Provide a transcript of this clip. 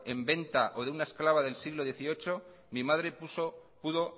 en venta o de una esclava del siglo dieciocho mi madre pudo